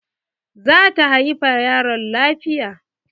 Za ta haifa yaron lafiya.